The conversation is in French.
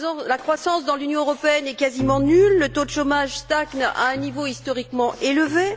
La croissance dans l'Union européenne est quasiment nulle, le taux de chômage stagne à un niveau historiquement élevé.